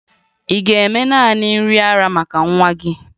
Ị ga-eme nanị nri ara maka nwa gị?